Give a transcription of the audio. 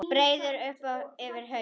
Breiði upp yfir haus.